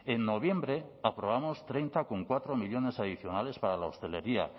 en noviembre aprobamos treinta coma cuatro millónes adicionales para la hostelería